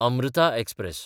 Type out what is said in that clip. Amrutha express